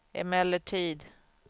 emellertid